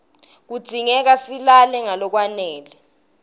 kudzingeka silale ngalokwanele